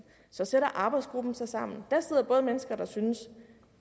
så sætter arbejdsgruppen sig sammen og der sidder både mennesker der synes at